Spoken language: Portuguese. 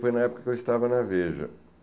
Foi na época que eu estava na Veja.